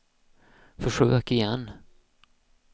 försök igen